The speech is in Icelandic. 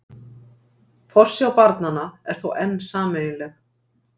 Forsjá barnanna er þó enn sameiginleg